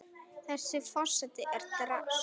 Þessi forseti er drasl!